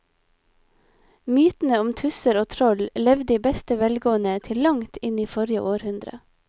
Mytene om tusser og troll levde i beste velgående til langt inn i forrige århundre.